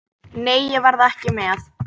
Nei, ég verð ekki með.